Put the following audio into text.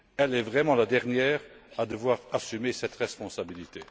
Elle est vraiment la dernière à devoir assumer cette responsabilité.